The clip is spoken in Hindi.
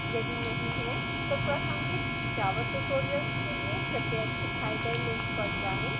यदि नहीं है तो प्रासंगिक java tutorials के लिए कृपया दिखाए गए link पर जाएँ